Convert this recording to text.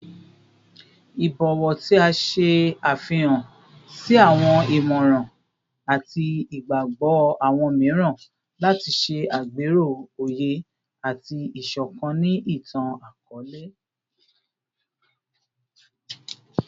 Ibọwọ ti a ṣe afihan si awọn imọran ati igbagbọ awọn miiran lati ṣe agbero oye ati isokan ni itan-akọọlẹ